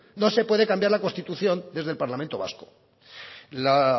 no se puede cambiar la constitución desde el parlamento vasco la